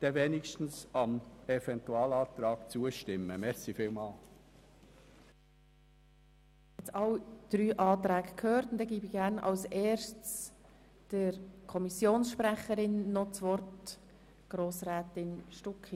Wir haben nun die Begründungen für alle drei Anträge gehört, und ich übergebe das Wort an die Kommissionssprecherin, Grossrätin Stucki.